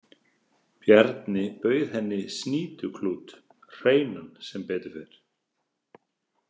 Bjarni bauð henni snýtuklút, hreinan sem betur fer.